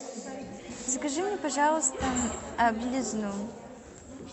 закажи мне пожалуйста белизну